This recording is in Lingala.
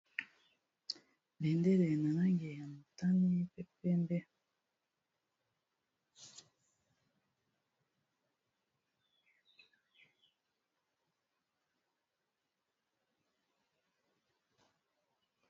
Bendele na langi ya motani pe pembe.